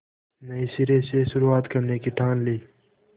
नए सिरे से शुरुआत करने की ठान ली